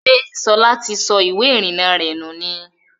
Ṣẹ́ Ṣọlá ti sọ ìwé ìrìnà rẹ nù ni?